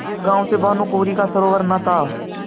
जिस गॉँव से भानुकुँवरि का सरोवार न था